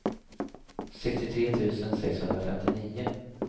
sextiotre tusen sexhundrafemtionio